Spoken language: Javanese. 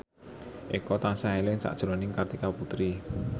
Eko tansah eling sakjroning Kartika Putri